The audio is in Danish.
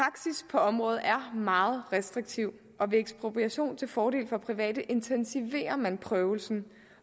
på området er meget restriktiv og ved ekspropriation til fordel for private intensiverer man prøvelsen